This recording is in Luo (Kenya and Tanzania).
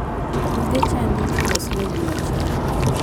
Buge chadi ichulo siling mia achiel.